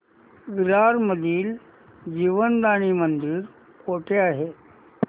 विरार मधील जीवदानी मंदिर कुठे आहे